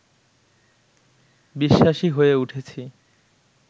বিশ্বাসী হয়ে উঠেছি